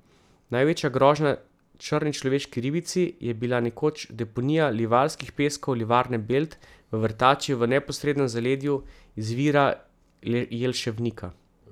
Največja grožnja črni človeški ribici je bila nekoč deponija livarskih peskov Livarne Belt v vrtači v neposrednem zaledju izvira Jelševnika.